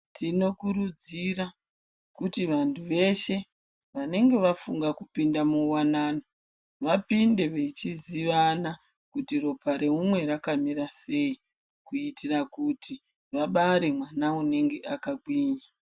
Tinokurudzira kuti vantu veshe vanenge vafunga kupinda muwanano vapinde vechizivana kuti ropa reumwe rakamira sei kuitira kuti vabare mwana unenge akagwinya.